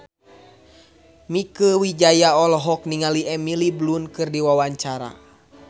Mieke Wijaya olohok ningali Emily Blunt keur diwawancara